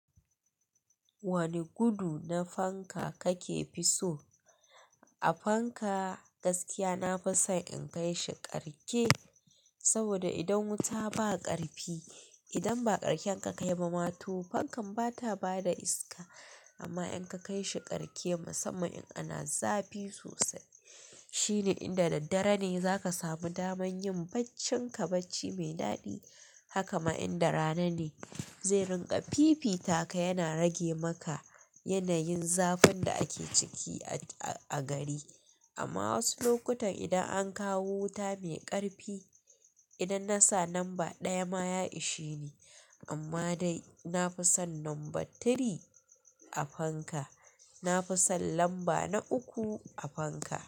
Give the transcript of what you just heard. Wani gudu na fanka kake fi so? A fanka gaskiya nafi son in kai shi karke, saboda idan wuta ba ƙarfi, idan ba ƙarshen ka kai ba ma to fankan bata bada iska. Amma in ka kai shi karke musamman in ana zafi sosai shine inda daddare ne zaka samu daman yin baccinka bacci me daɗi. Haka ma in da rana ne, zai rinƙa fifita ka yana rage maka yanayin zafin da ake ciki a gari. Amma wasu lokutan idan an kawo wuta mai ƙarfi, idan na sa namba ɗaya ma ya ishe ni. Amma dai nafi son numba tiri a fanka, nafi son lamba na uku a fanka.